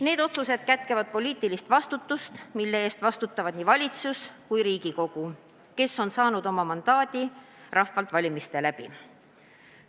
Need otsused kätkevad poliitilist vastutust, mille eest vastutavad nii valitsus kui ka Riigikogu, kes on saanud oma mandaadi rahvalt valimiste kaudu.